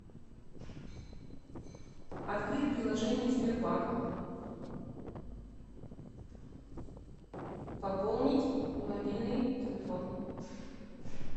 открыть приложение сбербанк пополнить мобильный телефон